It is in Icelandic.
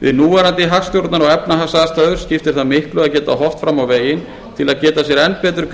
við núverandi hagstjórnar og efnahagsaðstæður skiptir það miklu að geta horft fram á veginn til að gera sér enn betur